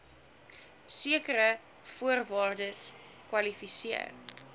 sekere voorwaardes kwalifiseer